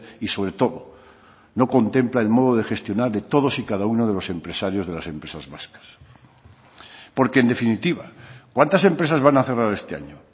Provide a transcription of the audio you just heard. y sobre todo no contempla el modo de gestionar de todos y cada uno de los empresarios de las empresas vascas porque en definitiva cuántas empresas van a cerrar este año